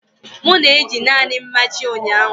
M na-eji naanị mmachi ụnyaahụ.